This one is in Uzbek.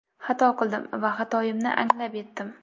Xato qildim va xatoyimni anglab yetdim.